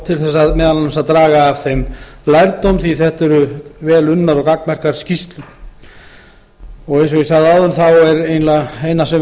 til þess meðal annars að draga af þeim lærdóm því þetta eru vel unnar og gagnmerkar skýrslur eins og ég sagði áðan þá er eiginlega eina